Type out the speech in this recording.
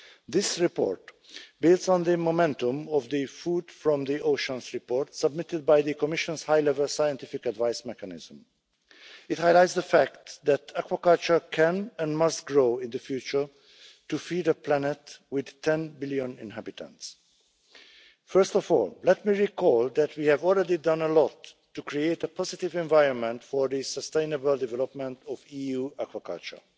This report builds on the momentum of the Food from the oceans' report submitted by the Commission's High Level Scientific Advice Mechanism. It highlights the fact that aquaculture can and must grow in the future to feed a planet with 10 billion inhabitants. First of all, let me recall that we have already done a lot to create a positive environment for the sustainable development of EU aquaculture.